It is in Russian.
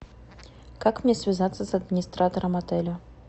как мне связаться с администратором отеля